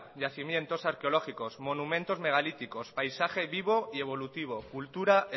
yacimientos arqueológicos monumentos megalíticos paisaje vivo y evolutivo cultura